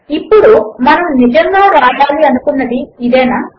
ఇప్పుడు మనము నిజముగా వ్రాయాలి అనుకున్నది ఇదేనా